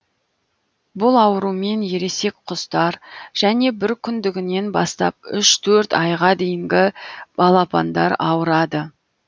бұл аурумен ересек құстар және бір күндігінен бастап үш төрт айға дейінгі балапандар ауырады